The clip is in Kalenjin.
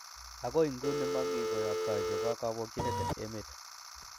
Agoi nguni, momi koyoktoi chebo kobokyinet en emet.